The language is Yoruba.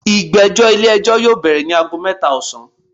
Igbẹjọ ile-ẹjọ yoo bẹrẹ ni aago mẹta osan